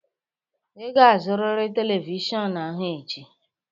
Ị ga-azụrịrị telivishọn ahụ echi!